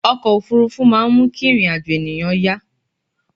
ọkọ̀ òfurufú máà ń mú kí ìrìn àjọ̀ ènìyàn yá